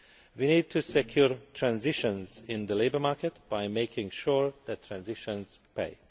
We need to secure transitions in the labour market by making sure that transitions pay.